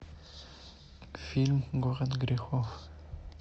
фильм город грехов